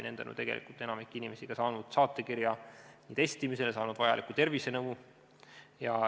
Nende kaudu on enamik inimesi saanud saatekirja testimisele ja vajalikku tervisenõu.